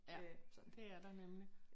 Ja det er der nemlig